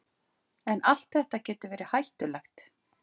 En allt þetta getur verið hættulegt.